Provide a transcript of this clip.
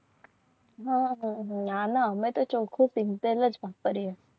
નાના અમે તો ચોખ્ખું શીંગ તેલ જ વાપરે